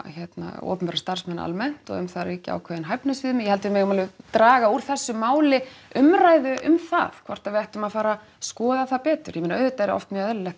opinbera starfsmenn almennt og um það ríkja ákveðin hæfnisviðmið ég held að við megum alveg draga úr þessu máli umræðu um það hvort við ættum að fara að skoða það betur ég meina auðvitað er oft mjög eðlilegt